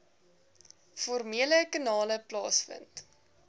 formele kanale plaasvind